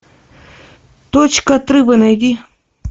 точка отрыва найди